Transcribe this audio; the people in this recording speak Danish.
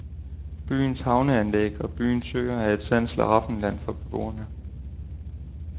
Byens havneanlæg og byens søer er et sandt slaraffenland for beboerne.